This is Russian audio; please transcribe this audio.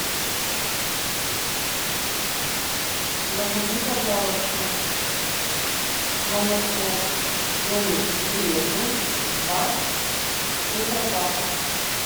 закажи пожалуйста молоко домик в деревне два тетрапака